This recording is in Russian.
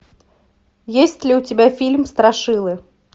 есть ли у тебя фильм страшилы